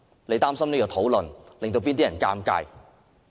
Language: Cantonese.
你擔心有關的討論會令誰尷尬？